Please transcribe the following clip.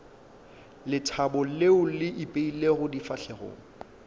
lethabo leo le ipeilego difahlegong